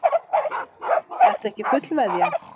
Ertu ekki fullveðja?